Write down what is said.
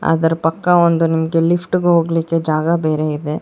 ಅದರ ಪಕ್ಕ ಒಂದು ನಿಮಗೆ ಲಿಫ್ಟ್ ಹೋಗೋದಿಕ್ಕೆ ಜಾಗ ಬೇರೆ ಇದೆ.